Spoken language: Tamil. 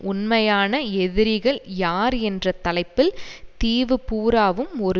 உண்மையான எதிரிகள் யார் என்ற தலைப்பில் தீவு பூராவும் ஒரு